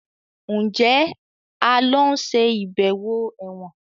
Njé a ló ń ṣe ibẹwo èwòn?